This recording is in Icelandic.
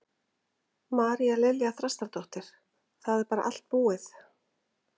María Lilja Þrastardóttir: Það er bara allt búið?